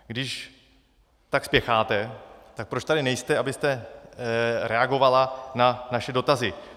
Když tak spěcháte, tak proč tady nejste, abyste reagovala na naše dotazy?